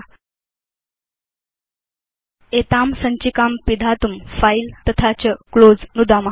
file तथा च close नुदित्वा एतां सञ्चिकां पिदधाम